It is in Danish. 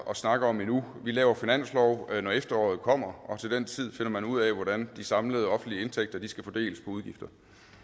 snakke om endnu vi laver finanslov når efteråret kommer og til den tid finder man ud af hvordan de samlede offentlige indtægter skal fordeles på udgifter